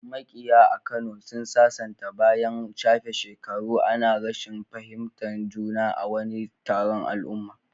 Makiya a Kano sun sasanta bayan an shafe shekaru ana rashin fahimtar juna a wani taron al'umma.